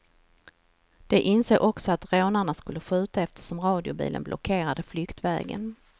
De insåg också att rånarna skulle skjuta eftersom radiobilen blockerade flyktvägen.